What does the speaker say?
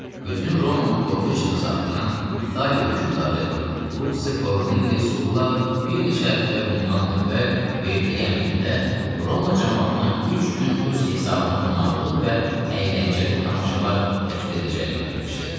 Bütün Romanı qorxu içində saxlayan İtaliya hökmdarı Lu Cornelli Sulla bir neçə həftə bundan əvvəl verdiyi əmrində Roma camaatına üç gün öz hesabına qonaqlıq və əyləncəli tamaşalar təşkil edəcəyini bildirmişdi.